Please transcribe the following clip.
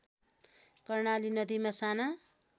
कर्णाली नदीमा साना